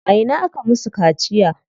A ina aka musu kaciya?